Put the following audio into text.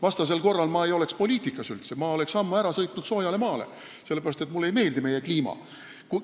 Vastasel korral ma ei oleks üldse poliitikas, ma oleks ammu soojale maale ära sõitnud, sellepärast et mulle ei meeldi meie kliima.